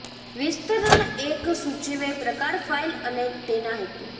વિસ્તરણ એક સૂચવે પ્રકાર ફાઈલ અને તેના હેતુ